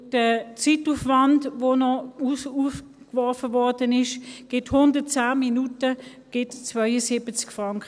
Der Zeitaufwand betrug 110 Minuten und ergab 72 Franken.